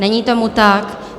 Není tomu tak.